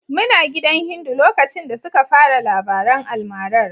Muna gidan Hindu lokacin da suka fara labaran almarar.